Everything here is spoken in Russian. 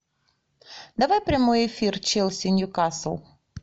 давай прямой эфир челси ньюкасл